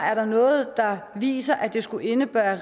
noget der viser at det skulle indebære